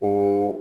Ko